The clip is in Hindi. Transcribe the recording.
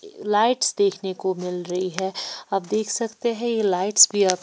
लाइट्स देखने को मिल रही है आप देख सकते हैं ये लाइट्स भी आप--